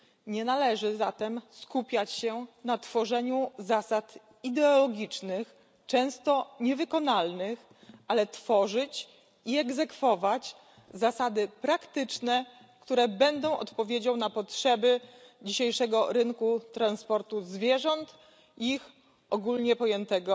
Nie należy zatem skupiać się na tworzeniu zasad ideologicznych, często niewykonalnych, ale tworzyć i egzekwować zasady praktyczne, które będą odpowiedzią na potrzeby dzisiejszego rynku transportu zwierząt i ich ogólnie pojętego